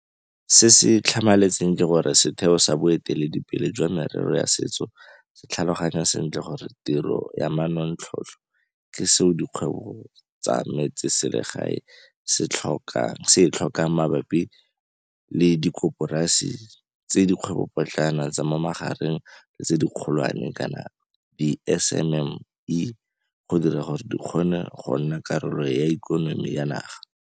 Se se tlhamaletseng ke gore setheo sa boeteledipele jwa merero ya setso se tlhaloganya sentle gore tiro ya manontlhotlho ke seo dikgwebo tsa metseselegae se e tlhokang mabapi le dikoporasi tsa dikgwebopotlana, tsa mo magareng le tse dikgolwane, di-SMME, go dira gore di kgone go nna karolo ya ikonomi ya naga.